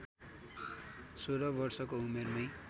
१६ वर्षको उमेरमै